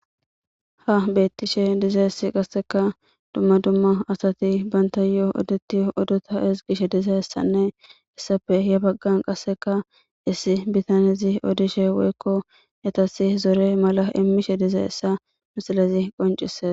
ha beettishe diza issi qasseka dumma dumma asati banta yoo odetti odota es qishe diza essanne issape ye baggan qasseka issi bitanezi odishe woykko yetasi zore mala immishe diza essa misilezi qoncise